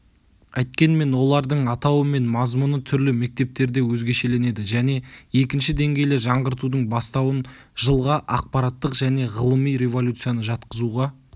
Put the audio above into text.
әйткенмен олардың атауы мен мазмұны түрлі мектептерде өзгешеленеді және екінші деңгейлі жаңғыртудың бастауын жылға ақпараттық және ғылыми революцияны жатқызуға